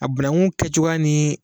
A bananku kɛcogoya ni